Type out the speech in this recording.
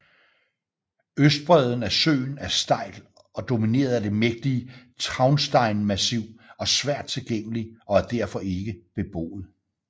Østbreden af søen er stejl og domineret af det mægtige Traunsteinmassiv og svært tilgængelig og er derfor ikke beboet